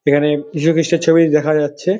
এখানে যিশু খ্রিস্টের ছবি দেখা যাচ্ছে।